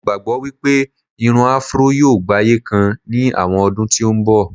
mo gbagbọ pe Irun afro yíò gbaye kan ni àwọn ọdún tí n bọ